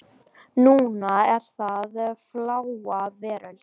Núna er það Fláa veröld.